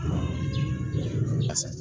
A sa